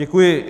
Děkuji.